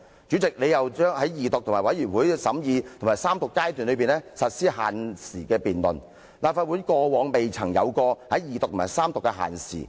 你又為《條例草案》的二讀、委員會審議和三讀階段實施限時辯論，但立法會過往從未就法案的二讀和三讀辯論設下時限。